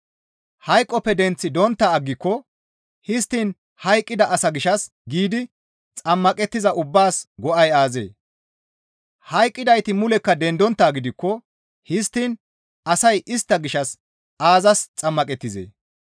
Hayqoppe denththi dontta aggiko histtiin hayqqida asaa gishshas giidi xammaqettiza ubbaas go7ay aazee? Hayqqidayti mulekka dendonttaa gidikko histtiin asay istta gishshas aazas xammaqettizee?